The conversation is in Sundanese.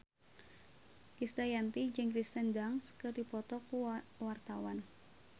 Krisdayanti jeung Kirsten Dunst keur dipoto ku wartawan